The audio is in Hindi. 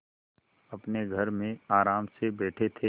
अपने घर में आराम से बैठे थे